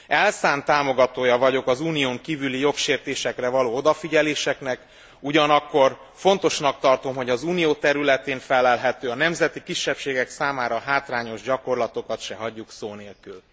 Elszánt támogatója vagyok az Unión kívüli jogsértésekre való odafigyeléseknek, ugyanakkor fontosnak tartom, hogy az Unió területén fellelhető, a nemzeti kisebbségek számára hátrányos gyakorlatokat se hagyjuk szó nélkül.